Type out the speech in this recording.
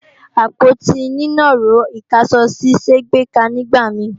Àpótí nínàró ìkáṣọsí ṣé gbèéká nígbà mi